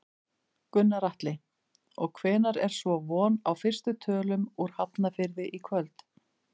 Gunnar Atli: Og hvenær er svo von á fyrstu tölum úr Hafnarfirði í kvöld?